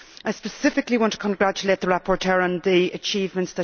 I specifically want to congratulate the rapporteur on her achievements.